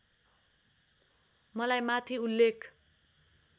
मलाई माथि उल्लेख